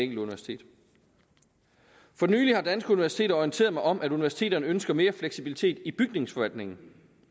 universitet for nylig har danske universiteter orienteret mig om at universiteterne ønsker mere fleksibilitet i bygningsforvaltningen